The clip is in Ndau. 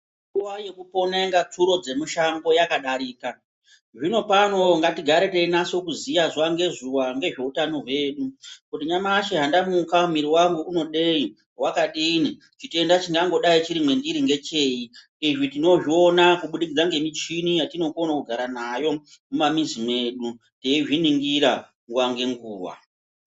Nguwa yekupona onga tsuro dzemushango yakadarika zvinopano ngatigare teinase kuziya zuwa ngezUwa ngezveutano hwedu kuti nyamashi handamuka miri wangu unodei wakadini chitenda chingangodainchiri mwendiri ngechei izvi tinozvona kubudikidza ngemuchini yatinokone kugara Nayo Mumamizi mwedu teizviningira nguwa ngenguwa.